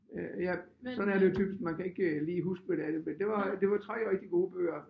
Øh ja sådan er det jo typisk man kan ikke lige huske hvad det er det men det var det var 3 rigtig gode bøger